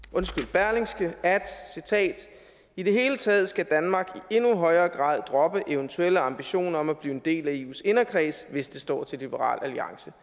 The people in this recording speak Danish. berlingske i det hele taget skal danmark i endnu højere grad droppe eventuelle ambitioner om at blive en del af eus inderkreds hvis det står til liberal alliance